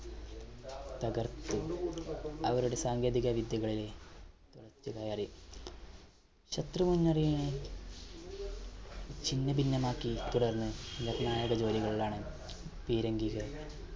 തകർത്ത് അവരുടെ സാങ്കേതിക വിദ്യകളെ ശത്രു വിമാനങ്ങളെ ചിന്നഭിന്നം ആക്കി തുടർന്ന് നിർണായക ജോലികളിലാണ് പീരങ്കികൾ